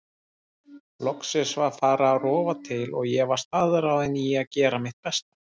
Loksins var farið að rofa til og ég var staðráðin í að gera mitt besta.